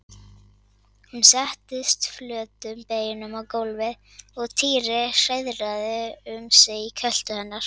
Hún settist flötum beinum á gólfið og Týri hreiðraði um sig í kjöltu hennar.